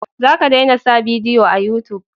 Za ka dena sa bidiyo a yutub